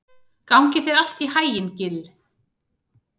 Gangi þér allt í haginn, Gill.